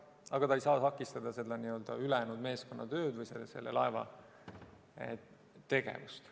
Aga ta ei saa takistada ülejäänud meeskonna tööd või selle laeva tegevust.